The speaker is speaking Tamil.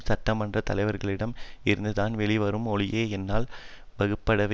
சட்ட மன்ற தலைவைர்களிடம் இருந்துதான் வெளிவருமே ஒழிய என்னால் வகுக்கப்படுபவே